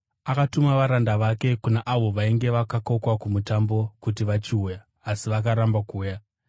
Akatuma varanda vake kuna avo vainge vakakokwa kumutambo kuti vachiuya, asi vakaramba kuuya.